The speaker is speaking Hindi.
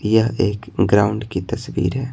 यह एक ग्राउंड की तस्वीर है।